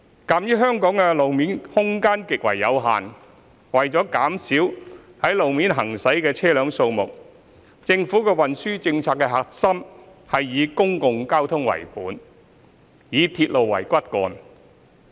鑒於香港的路面空間極為有限，為了減少在路面行駛的車輛數目，政府運輸政策的核心是以公共交通為本，以鐵路為骨幹。